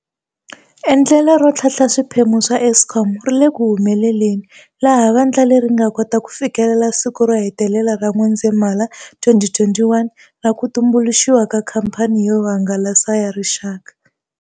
Endlelo ro tlhantlha swiphemu swa Eskom ri le ku humeleleni, laha vandla leri ri nga kota ku fikelela siku ro hetelela ra N'wendzamhala 2021 ra ku tumbuluxiwa ka Khamphani yo Hangalasa ya Rixaka.